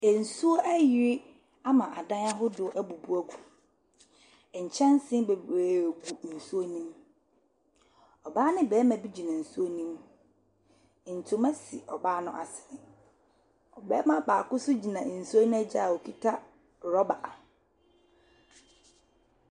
Nsuo ayiri ama adan ahodoɔ abubu agu. Nkyɛnse bebree gu nsuo no mu. Ɔbaa ne barima bi gyina nsuo no mu. Ntoma si ɔbaa no asene. Ɔbarima baako nso gyina nsuo no agya a ɔkuta rɔba.